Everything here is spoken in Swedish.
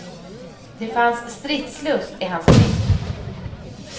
Det fanns stridslust i hans blick.